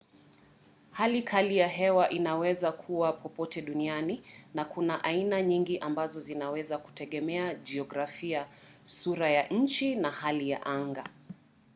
hali kali ya hewa inawezakuwa popote duniani na kuna aina nyingi ambazo zinaweza kutegemea jiografia sura ya nchi na hali ya anga